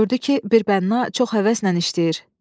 Gördü ki, bir bənna çox həvəslə işləyir.